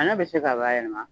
A bɛ se ka baayɛlɛma